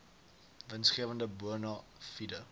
winsgewende bona fide